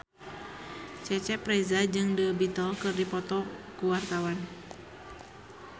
Cecep Reza jeung The Beatles keur dipoto ku wartawan